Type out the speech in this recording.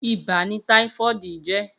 Ibà ni tàífọ̀dí jè